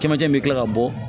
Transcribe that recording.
Kɛmancɛ bɛ kila ka bɔ